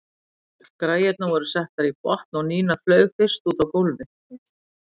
Græjurnar voru settar í botn og Nína flaug fyrst út á gólfið.